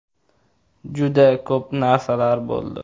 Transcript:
Juda ko‘p narsalar bo‘ldi.